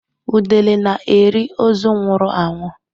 Udele na-eri ozu nwụrụ anwụ.